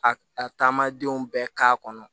A a taamadenw bɛɛ k'a kɔnɔ